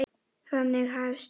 Þannig hefst ævin.